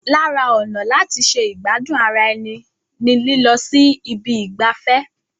Lara ọ̀nà láti ṣe ìgbádùn ara ẹni ni lílọ sí ibi ìgbafẹ́.